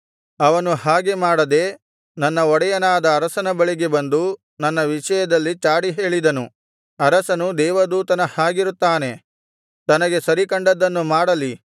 ಅವನು ಹಾಗೆ ಮಾಡದೆ ನನ್ನ ಒಡೆಯನಾದ ಅರಸನ ಬಳಿಗೆ ಬಂದು ನನ್ನ ವಿಷಯದಲ್ಲಿ ಚಾಡಿಹೇಳಿದನು ಅರಸನು ದೇವದೂತನ ಹಾಗಿರುತ್ತಾನೆ ತನಗೆ ಸರಿಕಂಡದ್ದನ್ನು ಮಾಡಲಿ